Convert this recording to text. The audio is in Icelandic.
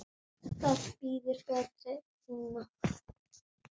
Það bíður betri tíma.